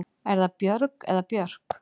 Er það Björg eða Björk?